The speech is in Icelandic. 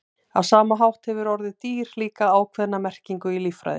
á sama hátt hefur orðið „dýr“ líka ákveðna merkingu í líffræði